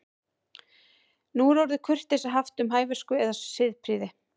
Nú er orðið kurteisi haft um hæversku eða siðprýði.